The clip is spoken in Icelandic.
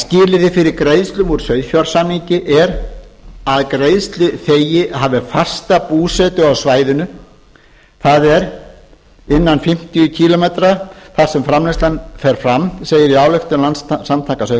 skilyrði fyrir greiðslum úr sauðfjársamningi er að greiðsluþegi hafi fasta búsetu á svæðinu þar sem framleiðslan fer fram segir á ályktun landssamtaka